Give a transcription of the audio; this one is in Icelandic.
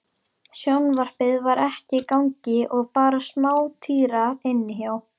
Sjónvarpið var ekki í gangi og bara smátíra inni hjá